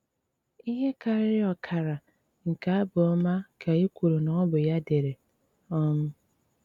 Íhé kárírí ọ́kára nké ábụ́ ọ́má ká é kwúru ná ọ́ bụ́ yá dére. um